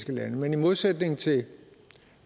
lande men i modsætning til